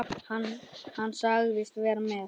Hann sagðist vera með